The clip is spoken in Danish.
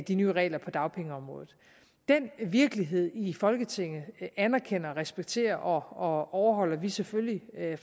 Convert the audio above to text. de nye regler på dagpengeområdet den virkelighed i folketinget anerkender og respekterer og overholder vi selvfølgelig